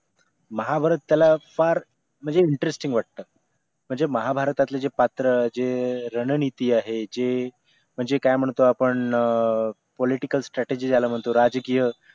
महाभारत त्याला फार म्हणजे interesting वाटतं म्हणजे महाभारतातील जे पात्र जे रणनीती आहे जे म्हणजे काय म्हणतो आपण political strategy ज्याला म्हणतो राजकीय